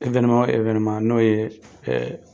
n'o ye